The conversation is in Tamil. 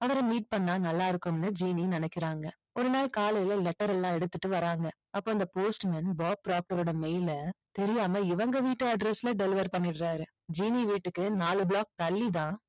அவரை meet பண்ணா நல்லா இருக்கும்னு ஜீனி நினைக்கிறாங்க. ஒரு நாள் காலையில letter எல்லாம் எடுத்துட்டு வர்றாங்க. அப்போ அந்த post man பாப் ப்ராக்ட்டரோட mail அ தெரியாம இவங்க வீட்டு address ல deliver பண்ணிடுறாரு. ஜீனி வீட்டுக்கு நாலு block தள்ளி தான்